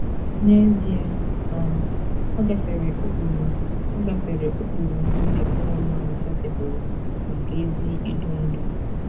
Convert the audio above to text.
N’ezie, um ọ gafere ụkpụrụ ọ gafere ụkpụrụ nile ụmụ mmadụ setịpụrụ maka ezi idu ndú.